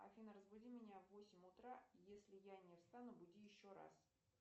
афина разбуди меня в восемь утра если я не встану буди еще раз